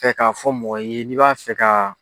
Kɛ k'a fɔ mɔgɔ ye n'i b'a fɛ ka.